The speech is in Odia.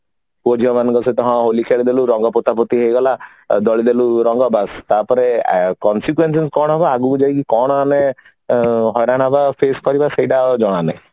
ପୁଅ ଝିଅ ମାନଙ୍କ ସହିତ ହଁ ହୋଲି ଖେଳିଦେଲୁ ରଙ୍ଗ ପୋତା ପୋତି ହେଇଗଲା ଦଳିଦେଲୁ ରଙ୍ଗ ବାସ ତାପରେ consequences କଣ ହବ ଆଗକୁ ଯାଇକି କଣ ଆମେ ହଡା ନବା face କରିବା ସେଇଟା ଆଉ ଜଣାନାହିଁ